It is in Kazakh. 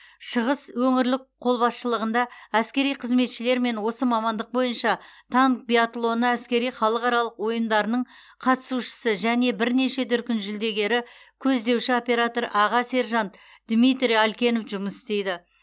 шығыс өңірлік қолбасшылығында әскери қызметшілермен осы мамандық бойынша танк биатлоны әскери халықаралық ойындарының қатысушысы және бірнеше дүркін жүлдегері көздеуші оператор аға сержант дмитрий алькенов жұмыс істейді